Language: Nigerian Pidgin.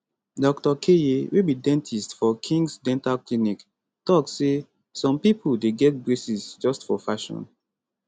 doctor keye wey be dentist for khings dental clinic tok say some pipo dey get braces just for fashion